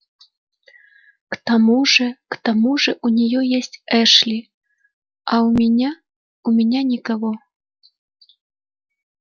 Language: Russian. к тому же к тому же у неё есть эшли а у меня у меня никого